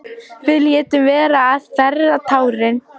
Við létum vera að þerra tárin.